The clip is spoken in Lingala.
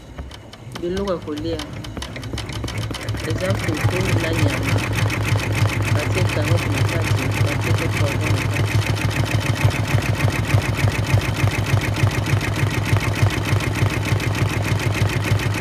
biloko ya kolia eza fufu na nyama batie 40 na kadi batie pe poavon na kadi